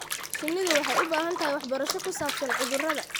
Shinnidu waxay u baahan tahay waxbarasho ku saabsan cudurrada.